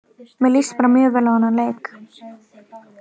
Mér líst bara mjög vel á þennan leik.